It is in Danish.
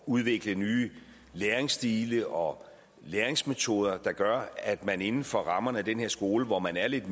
udvikle nye læringsstile og læringsmetoder der gør at man inden for rammerne af den her skole hvor man er lidt